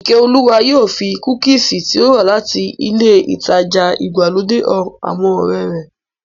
Ìkẹ́olúwa yóò fi kúkìsì tí ó rà láti ilé ìtajà ìgbàlódé han àwọn ọ̀rẹ́ rẹ̀